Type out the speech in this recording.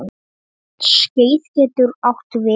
Skeið getur átt við